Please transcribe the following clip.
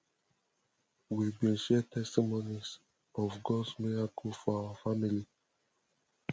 we bin share testimonies of gods miracles for our family